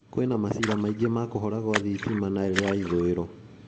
kũĩna maciira maingĩ ma kũhora gwa thitima Nile ya ithũĩro